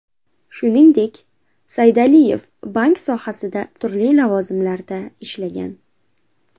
Shuningdek, Saydaliyev bank sohasida turli lavozimlarda ishlagan.